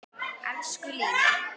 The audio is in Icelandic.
Elsku Lína.